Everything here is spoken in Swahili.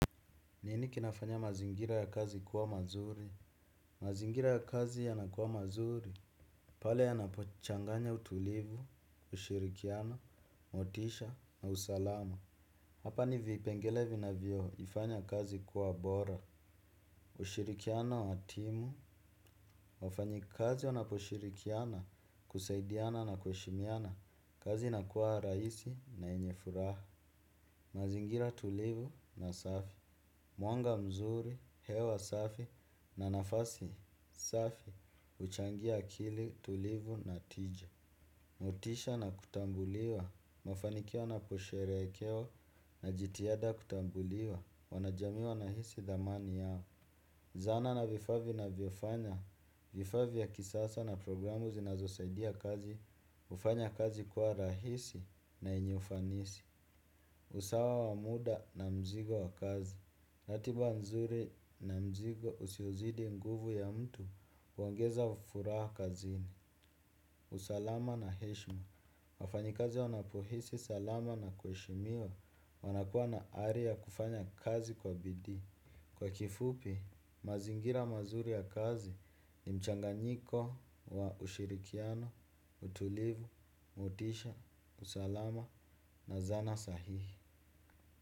Nini kinafanya mazingira ya kazi kuwa mazuri? Mazingira ya kazi yanakuwa mazuri. Pale yanapochanganya utulivu, ushirikiano, motisha na usalama. Hapa ni vipengele vina vioho ifanya kazi kuwa bora. Ushirikiano wa timu wafanyi kazi wanaposhirikiana kusaidiana na kuheshimiana. Kazi ina kuwa raisi na enye furaha mazingira tulivu na safi. Mwanga mzuri, hewa safi na nafasi safi uchangia akili tulivu na tija. Motisha na kutambuliwa, mafanikia naposherekewa na jitihada kutambuliwa, wanajamiwa na hisi dhamani yao. Zana na vifaa vinavyofanya, vifaa ya kisasa na programu zinazosaidia kazi, hufanya kazi kuwa rahisi na enye ufanisi. Usawa wa muda na mzigo wa kazi. Natiba nzuri na mzigo, usiozidi nguvu ya mtu, huongeza ufuraha kazini. Usalama na heshma wafanyikazi wanapohisi salama na kweshimiwa wanakuwa na ari ya kufanya kazi kwa bidii. Kwa kifupi, mazingira mazuri ya kazi, ni mchanganyiko wa ushirikiano, utulivu, motisha, usalama na zana sahihi.